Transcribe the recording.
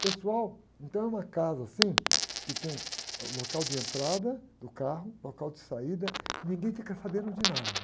Pessoal, então é uma casa assim, que tem um local de entrada do carro, local de saída, ninguém fica sabendo de nada.